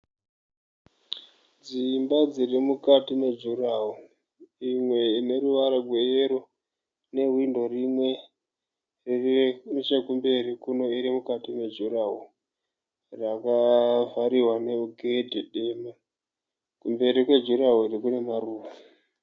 Dzimba dzirimukati mejurahoro. Imwe ine ruvara rweyero ine hwindo rimwe. Iri nechekumberi kuno irimukati mejurahoro rakavhariwa negedhi dema. Kumberi kwejurahoro kunewo maruva.